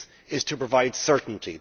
is to provide certainty.